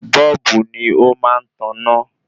Bọ́ọ́bù ni ó má ń taná